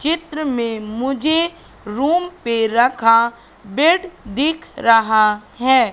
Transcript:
चित्र में मुझे रूम पर रखा बेड दिख रहा है।